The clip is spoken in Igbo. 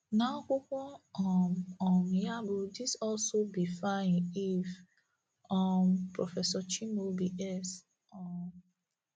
N’akwụkwọ um um ya bụ́ These Also BIfeanyieve, um Prọfesọ Chimaobi S. um